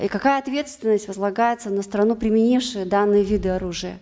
и какая ответственность возлагается на страну применившую данные виды оружия